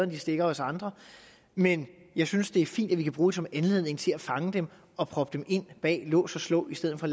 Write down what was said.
de stikker os andre men jeg synes det er fint at vi kan bruge det som en anledning til at fange dem og proppe dem ind bag lås og slå i stedet for